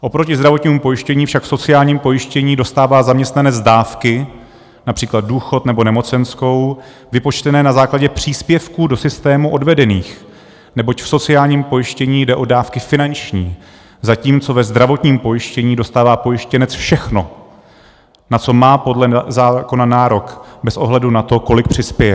Oproti zdravotnímu pojištění však v sociálním pojištění dostává zaměstnanec dávky, například důchod nebo nemocenskou, vypočtené na základě příspěvků do systému odvedených, neboť v sociálním pojištění jde o dávky finanční, zatímco ve zdravotním pojištění dostává pojištěnec všechno, na co má podle zákona nárok, bez ohledu na to, kolik přispěje.